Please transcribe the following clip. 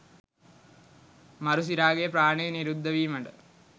මරු සිරාගේ ප්‍රාණය නිරුද්ධ වීමට